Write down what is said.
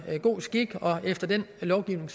god skik og efter den lovgivning